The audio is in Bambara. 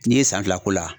N'i ye san fila k'o la